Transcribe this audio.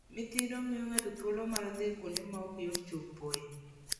Midhiro miyo ng'ato thuolo mar dhi kuonde ma ok yot chopoe.